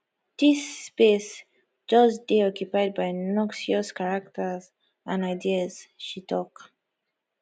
dis space just dey occupied by noxious characters and ideas she tok